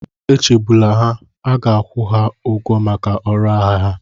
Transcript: Echegbula ha, a ga-akwụ ha ụgwọ maka ọrụ agha ha.